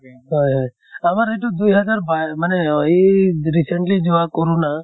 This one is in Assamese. হয় হয়। আমাৰ এইটো দুই হাজাৰ বাই মানে এই recently যোৱা কৰʼণা